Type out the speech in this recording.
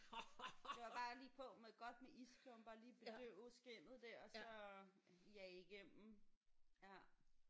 Det var bare lige på med godt med isklumper lige at bedøve skindet der og så jage igennem ja